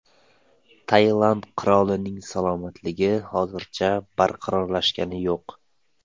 Tailand qirolining salomatligi hozircha barqarorlashgani yo‘q.